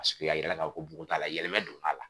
a yirala ka fɔ ko bugun t'a la yɛlɛmɛ donn'a la